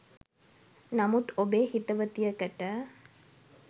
නමුත් ඔබේ හිතවතියකට